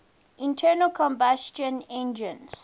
internal combustion engines